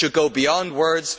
It should go beyond words.